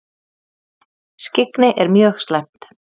Skyggni er mjög slæmt.